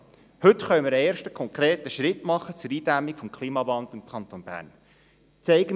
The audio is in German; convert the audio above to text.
Heute können wir einen ersten konkreten Schritt zur Eindämmung des Klimawandels im Kanton Bern machen.